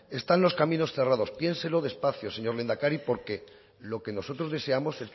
están los caminos cerrados piénselo despacio señor lehendakari porque lo que nosotros deseamos